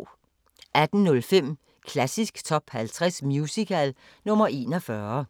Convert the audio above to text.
18:05: Klassisk Top 50 Musical – nr. 41